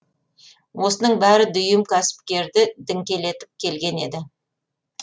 осының бәрі дүйім кәсіпкерді діңкелетіп келген еді